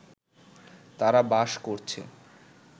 তারা বাস করছে